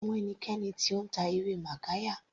Sé o mọ ẹnikẹni tó ń ta ewé magarya.